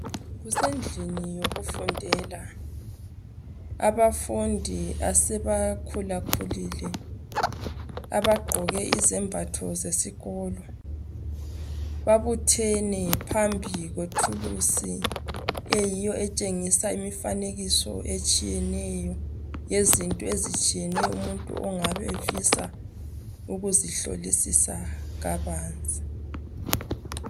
Kusendlini yokufundela abafundi aseba khula khulile abagqoke izembatho zesikolo babuthene phambi kwethuluzi etshingisa imfanekisa etshiyeneyo yezinto ezitshiyeneyo umuntu engabe efisa ukuzihlolisisa kabanzi